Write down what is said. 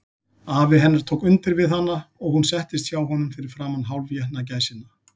Afi hennar tók undir við hana, og hún settist hjá honum fyrir framan hálfétna gæsina.